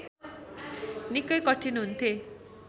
निकै कठिन हुन्थे